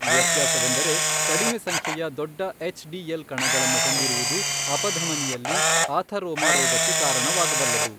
ವ್ಯತ್ಯಾಸವೆಂದರೆ ಕಡಿಮೆ ಸಂಖ್ಯೆಯ ದೊಡ್ಡ ಎಚ್ ಡಿಎಲ್ ಕಣಗಳನ್ನು ಹೊಂದಿರುವುದು ಅಪಧಮನಿಯಲ್ಲಿ ಆಥರೋಮಾ ರೋಗಕ್ಕೆ ಕಾರಣವಾಗಬಲ್ಲದು.